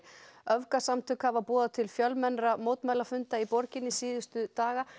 öfgasamtök hafa boðað til fjölmennra mótmælafunda í borginni síðustu daga